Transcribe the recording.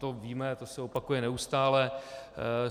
To víme, to se opakuje neustále.